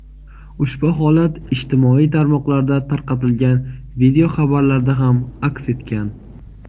Ushbu holat ijtimoiy tarmoqlarda tarqatilgan video xabarlarda ham aks etgan.